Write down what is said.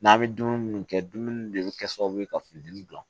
N'an bɛ dumuni minnu kɛ dumuni de bɛ kɛ sababu ye ka findimi dilan